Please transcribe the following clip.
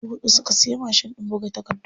Dubu huɗu suka siya mashin ɗin buga takardu.